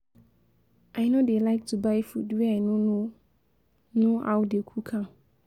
I no dey like to buy food wey I no no know how they cook am